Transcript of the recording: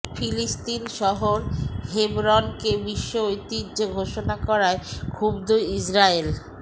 ফিলিস্তিন শহর হেবরনকে বিশ্ব ঐতিহ্য ঘোষণা করায় ক্ষুব্ধ ইসরায়েল